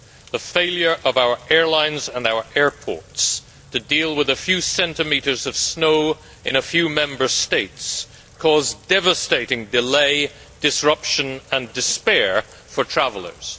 The failure of our airlines and our airports to deal with a few centimetres of snow in a few Member States caused devastating delay, disruption and despair for travellers.